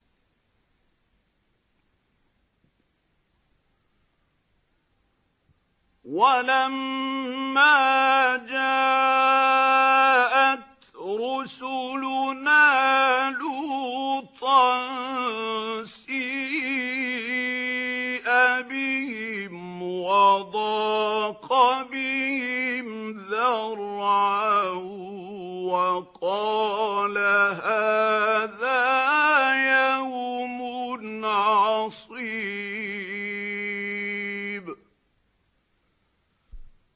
وَلَمَّا جَاءَتْ رُسُلُنَا لُوطًا سِيءَ بِهِمْ وَضَاقَ بِهِمْ ذَرْعًا وَقَالَ هَٰذَا يَوْمٌ عَصِيبٌ